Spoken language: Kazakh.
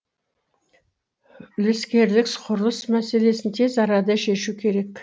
үлескерлік құрылыс мәселесін тез арада шешу керек